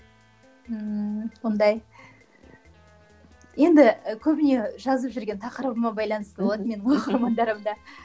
ыыы ондай енді і көбіне жазып жүрген тақырыбыма байланысты болады менің оқырмандарым да